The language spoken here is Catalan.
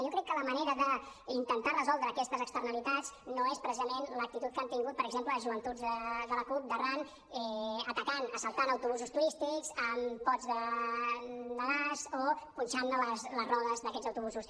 jo crec que la manera d’intentar resoldre aquestes externalitats no és precisament l’actitud que han tingut per exemple joventuts de la cup d’arran atacant assaltant autobusos turístics amb pots de gas o punxant les rodes d’aquests autobusos